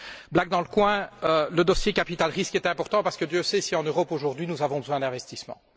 Blague dans le coin, le dossier capital risque est important parce que Dieu sait si en Europe aujourd'hui, nous avons besoin d'investissements.